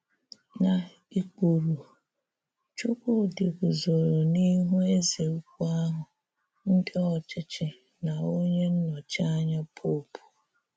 Na ikpuru, Chúkwúdị̀ guzòrò n’ihu èzè ùkwù ahụ, ndị ọchịchị, nà onye nnọ́chí ànyà Popu.